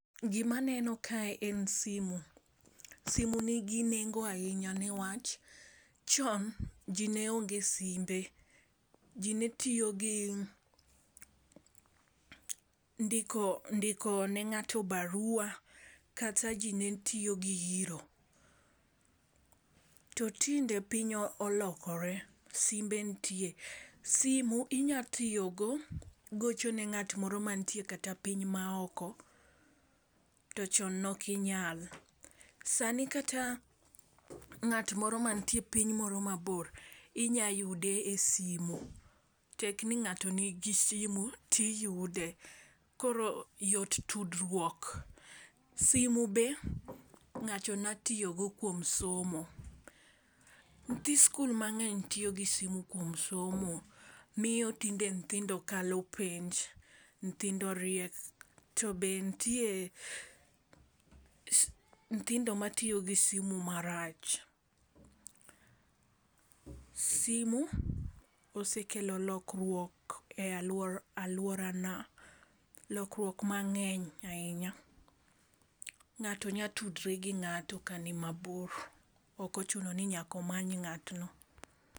Gimaneno kae en simu, simu nigi nengo ahinya newach chon ji ne onge simbe. Ji netiyo gi ndiko ne ng'ato barua, kata ji netiyo gi iro. To tinde piny olokore simbe ntie, simu inyatiyogo gochone ng'at moro mantie kata piny maoko to chon nokinyal. Sani kata ng'at moro mantie piny moro mabor, inya yude e simu, tekni ng'ato nigi simu, tiyude. Koro yot tudruok. Simu be ng'ato nyatiyogo kuom somo. Nyithi skul mang'eny tiyo gi simu kuom somo. Miyo tinde nthindo kalo penj, nthindo riek, to be ntie nthindo matiyo gi simu marach. Simu osekelo rokruok e alworana, lokruok mang'eny ahinya. Ng'ato nyatudre gi ng'ato ka ni mabor, ok ochuno ni nyakomany ng'atno.